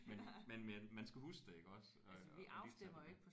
Men men men man skal huske det iggås øh at lytte til